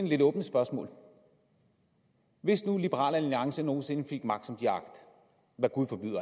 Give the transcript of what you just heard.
lidt åbne spørgsmål hvis nu liberal alliance nogen sinde fik magt som de har agt hvad gud forbyde og